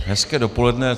Hezké dopoledne.